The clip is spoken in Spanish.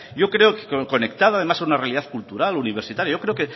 yo creo que conectada además a una realidad cultural universitaria yo creo